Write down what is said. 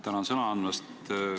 Tänan sõna andmast!